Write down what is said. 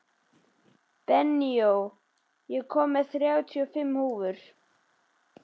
Benóný, ég kom með þrjátíu og fimm húfur!